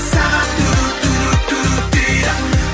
сағат дейді